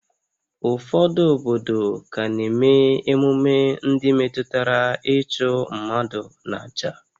Ụfọdụ obodo ka na-eme emume ndị metụtara ịchụ mmadụ n'àjà